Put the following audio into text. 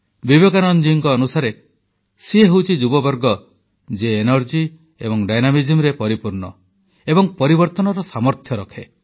ବିବେକାନନ୍ଦଙ୍କ ଅନୁସାରେ ସିଏ ହେଉଛି ଯୁବବର୍ଗ ଯିଏ ଉତ୍ସାହ ଏବଂ ସକ୍ରିୟତାରେ ପରିପୂର୍ଣ୍ଣ ଏବଂ ପରିବର୍ତ୍ତନର ସାମର୍ଥ୍ୟ ରଖେ